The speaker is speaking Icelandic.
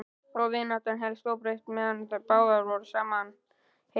Og vináttan hélst óbreytt meðan báðar voru sama heims.